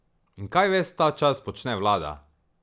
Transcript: In kaj ves ta čas počne vlada?